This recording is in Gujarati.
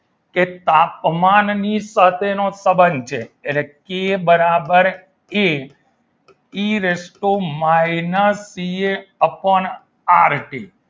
કે તાપમાનની સાથેનો સંબંધ છે એટલે કે બરાબર A T raise to minus P. A upon R T